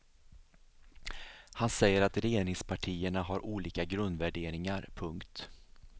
Han säger att regeringspartierna har olika grundvärderingar. punkt